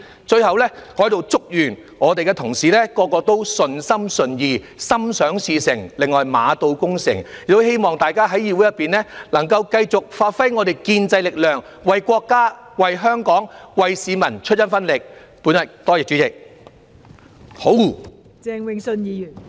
最後，我在此祝願各位同事也順心順意，心想事成，另外馬到功成，亦希望大家在議會內能夠繼續發揮建制力量，為國家、為香港、為市民出一分力，多謝代理主席。